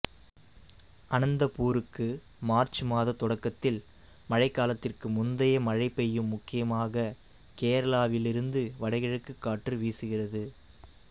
அனந்தபூருக்கு March மாத தொடக்கத்தில் மழைக்காலத்திற்கு முந்தைய மழை பெய்யும் முக்கியமாக கேரளாவிலிருந்து வடகிழக்கு காற்று வீசுகிறது